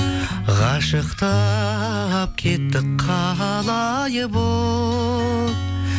қашықтап кеттік қалай бұл